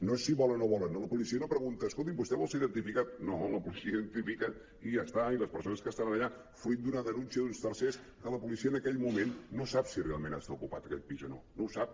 no és si volen o no volen no la policia no pregunta escolti’m vostè vol ser identificat no la policia identifica i ja està i les persones que estan allà fruit d’una denúncia d’uns tercers que la policia en aquell moment no sap si realment està ocupat aquell pis o no no ho sap